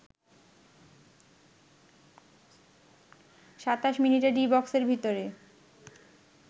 ২৭ মিনিটে ডি বক্সের ভিতরে